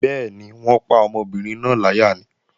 Bẹ́ẹ̀ni, wọ́n pa ọmọbìnrin náà láyà ni